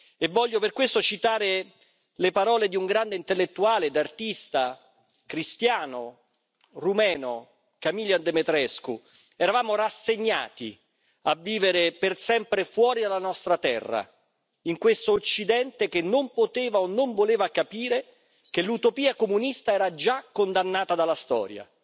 E voglio per questo citare le parole di un grande intellettuale ed artista cristiano rumeno, Camilian Demetrescu Eravamo rassegnati a vivere per sempre fuori dalla nostra terra in questo Occidente che non poteva o non voleva capire che l'utopia comunista era già condannata dalla storia,